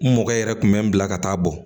N mɔgɔ yɛrɛ kun bɛ n bila ka taa bɔ